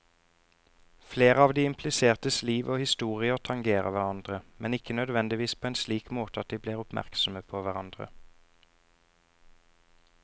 Flere av de implisertes liv og historier tangerer hverandre, men ikke nødvendigvis på en slik måte at de blir oppmerksomme på hverandre.